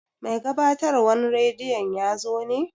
Mai gabatarwan radiyon yazo ne?